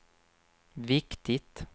viktigt